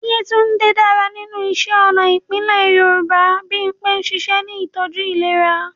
Yetunde dára nínú iṣẹ́ ọnà ìbílẹ̀ Yorùbá. Bimpe ń ṣiṣẹ́ ní ìtọ́jú ìlera.